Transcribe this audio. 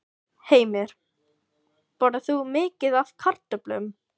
Heimir: Borðar þú mikið af kartöflum?